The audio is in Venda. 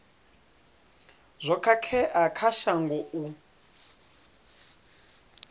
zwo khakhea kha shango u